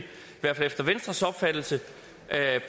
hvert fald efter venstres opfattelse